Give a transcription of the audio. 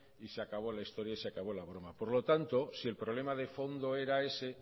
y se acabó la historia y se acabó la broma por lo tanto si el problema de fondo era ese